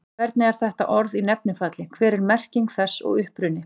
Hvernig er þetta orð í nefnifalli, hver er merking þess og uppruni?